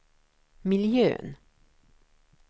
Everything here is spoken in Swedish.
miljön